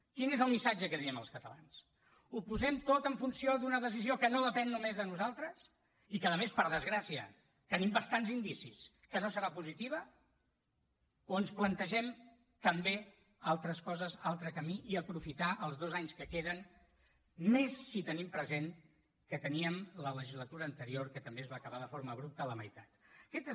quin és el missatge que diem els catalans ho posem tot en funció d’una decisió que no depèn només de nosaltres i que a més per desgràcia tenim bastants indicis que no serà positiva o ens plantegem també altres coses un altre camí i aprofitar els dos anys que queden i més si tenim present que teníem la legislatura anterior que també va acabar de forma abrupta a la meitat aquest és